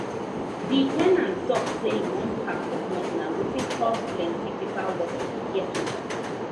the ten ant talk say e wan pack comot na wetin cos plenty paper work for caretaker